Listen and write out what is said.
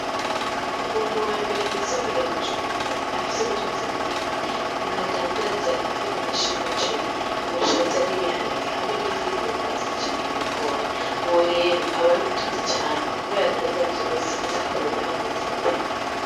Umuntu wa mbere mw'isoko ya Bujumbura afise ubutunzi bunini n'umuntu adandaza imifuko myinshi y'umuceri, ubushaza, n'ibiharage, hamwe n'ifu y'imyumbati canke y'ibigori, uwo rero aba ari umutunzi cane kubera adandaza vyose ndetse akadandaza n'amavuta.